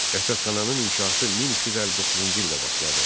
Rəsədxananın inşası 1259-cu ildə başladı.